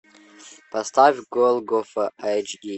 поставь голгофа эйч ди